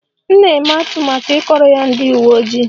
M na-eme atụmatụ ịkọrọ ya ndị uwe ojii